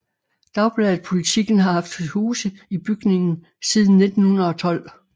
Dagbladet Politiken har haft til huse i bygningen siden 1912